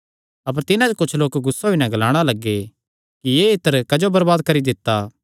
अपर तिन्हां च कुच्छ लोक गुस्सा होई नैं ग्लाणा लग्गे कि एह़ इत्तर क्जो बरबाद करी दित्ता